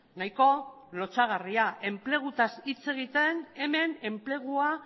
nahiko lotsagarria enpleguaz hitz egiten hemen enplegua